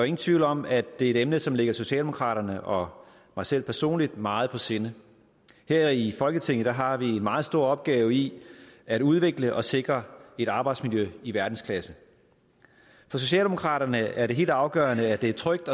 ingen tvivl om at det er et emne som ligger socialdemokraterne og mig selv personligt meget på sinde her i folketinget har vi en meget stor opgave i at udvikle og sikre et arbejdsmiljø i verdensklasse for socialdemokraterne er det helt afgørende at det er trygt